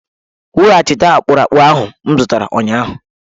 Weghachite akpụrụakpụ ahụ m zụtara ụnyahụ!